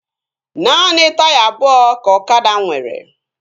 Naanị taya abụọ ka ọkada nwere